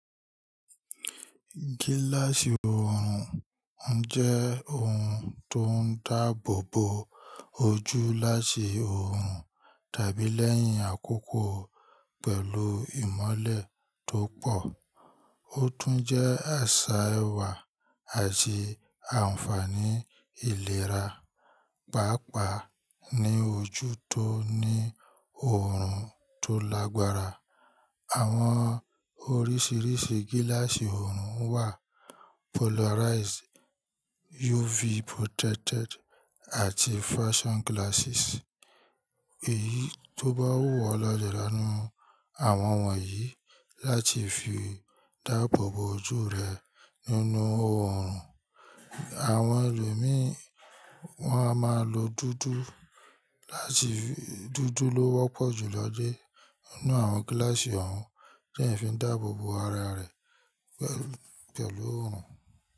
Gíláàsì oorun jẹ́ ohun tó n dáàbò bo ojú láti oorun tàbí lẹ́yìn àkókò pẹ̀lú ìmọ́lẹ̀ tó pọ̀. Ó tún jẹ́ àṣà ẹwà àti àǹfààní ìlera, pàápàá ní ojú tó ní oorun tó lágbára. Àwọn oríṣiríṣi gíláàsì oorun wà polarized, UV protected, àti fashion glasses. Èyí tó bá wù ọ le ra nú àwọn wọ̀nyí láti fi dáàbòbo ojú rẹ nínú oorun. Àwọn ẹlòmi wọn a máa lo dúdú láti fi Dúdú ló wọ́pọ̀ jù lọ́je nínú àwọn gíláàsì oorun tí ẹ̀ n fi dáàbòbo ara rẹ pẹ̀lú oorun.